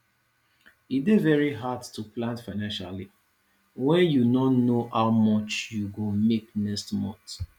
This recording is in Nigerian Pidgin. e dey very hard to plan financially when you no know how much you go make next month